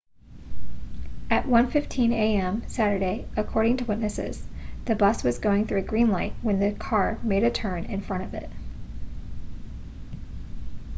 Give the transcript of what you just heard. at 1:15 a.m. saturday according to witnesses the bus was going through a green light when the car made a turn in front of it